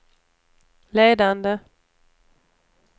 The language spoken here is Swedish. ledande